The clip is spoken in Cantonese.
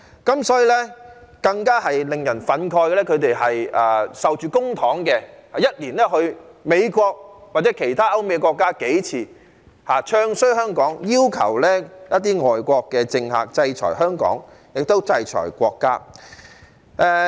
更令人憤慨的是，他們領受公帑，一年去美國或其他歐美國家數次，"唱衰"香港，要求一些外國政客制裁香港和國家。